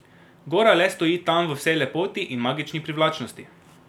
Gora le stoji tam v vsej lepoti in magični privlačnosti.